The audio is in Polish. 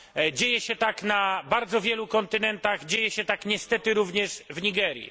Dzieje się tak na bardzo wielu kontynentach, dzieje się tak niestety również w Nigerii.